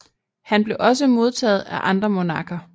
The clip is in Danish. Han blev også modtaget af andre monarker